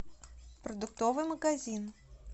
продуктовый магазин